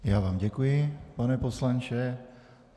Já vám děkuji, pane poslanče.